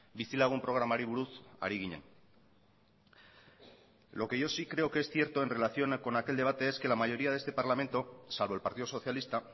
bizilagun programari buruz ari ginen lo que yo sí creo que es cierto en relación con aquel debate es que la mayoría de este parlamento salvo el partido socialista